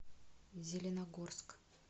зеленогорск